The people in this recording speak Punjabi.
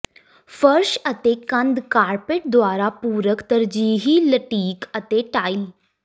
ਫਰਸ਼ ਅਤੇ ਕੰਧ ਕਾਰਪੈਟ ਦੁਆਰਾ ਪੂਰਕ ਤਰਜੀਹੀ ਲਟੀਕ ਅਤੇ ਟਾਇਲ